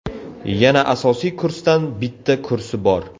Yana asosiy kursdan bitta kursi bor.